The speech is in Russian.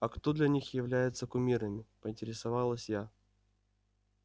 а кто для них является кумирами поинтересовалась я